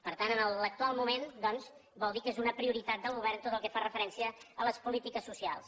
per tant en l’actual moment doncs vol dir que és una prioritat del govern tot el que fa referència a les polítiques socials